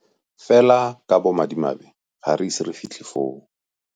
Fela ka bomadimabe ga re ise re fitlhe foo.